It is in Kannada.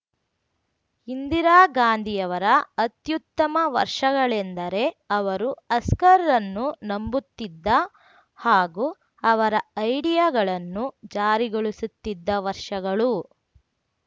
ಇಂದಿರಾ ಗಾಂಧಿಯವರ ಅತ್ಯುತ್ತಮ ವರ್ಷಗಳೆಂದರೆ ಅವರು ಹಸ್ಕರ್‌ರನ್ನು ನಂಬುತ್ತಿದ್ದ ಹಾಗೂ ಅವರ ಐಡಿಯಾಗಳನ್ನು ಜಾರಿಗೊಳಿಸುತ್ತಿದ್ದ ವರ್ಷಗಳು